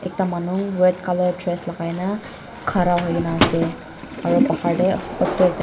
ekta manu red colour dress lagai na khara hoi kina aru pahar te etu ekta--